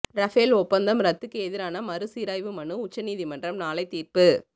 Rafale ஒப்பந்தம் ரத்துக்கு எதிரான மறுசீராய்வு மனு மீது உச்ச நீதிமன்றம் நாளை தீர்ப்பு